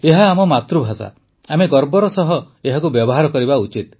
ଏହା ଆମ ମାତୃଭାଷା ଆମେ ଗର୍ବର ସହ ଏହାକୁ ବ୍ୟବହାର କରିବା ଉଚିତ